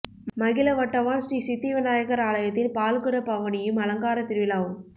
மகிழவட்டவான் ஸ்ரீ சித்தி விநாயகர் ஆலயத்தின் பால்குட பவனியும் அலங்கார திருவிழாவும்